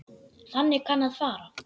Þannig kann að fara.